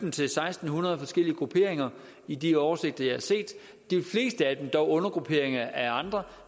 hundrede og forskellige grupperinger i de oversigter jeg har set de fleste af dem er dog undergrupperinger af andre